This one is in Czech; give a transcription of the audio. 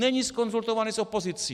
Není zkonzultovaný s opozicí!